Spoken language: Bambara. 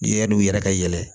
I yann'u yɛrɛ ka yɛlɛ